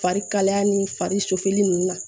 Fari kalaya ni fari sufini ninnu na